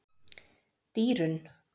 Dýrunn